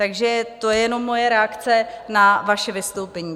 Takže to je jenom moje reakce na vaše vystoupení.